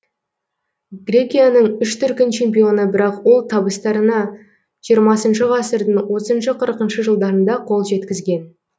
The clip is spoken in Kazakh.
грекияның үш дүркін чемпионы бірақ ол табыстарына жиырмасыншы ғасырдың отызыншы қырқыншы жылдарында қол жеткізген